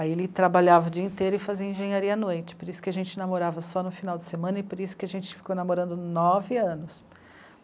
Aí ele trabalhava o dia inteiro e fazia engenharia à noite, por isso que a gente namorava só no final de semana e por isso que a gente ficou namorando nove anos.